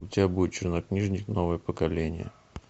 у тебя будет чернокнижник новое поколение